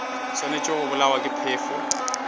swanetše go bolawa ke phefo